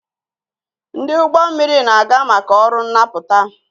Ndị ụgbọ mmiri na-aga maka ọrụ nnapụta